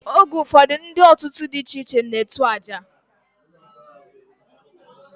Oge ufodu ndi otu di iche iche na etu aja.